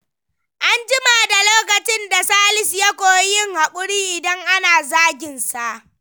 An jima da lokacin da Salisu ya koyi yin hakuri idan ana zagin sa.